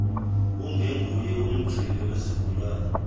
angenguye umgcini wesigulane